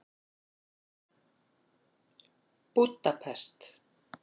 Búdapest